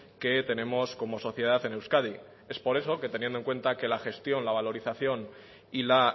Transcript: que tenemos como sociedad en euskadi es por eso que teniendo en cuenta que la gestión la valorización y la